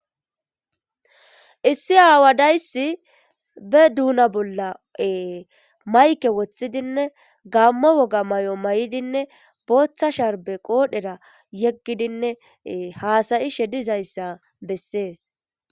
Issi aawadayssi be duuna bolla mayke woththidinne gammo woga may'o may'idinne booththa sharbe qoodhera yeggidinne haasayi shedizayssa bessees.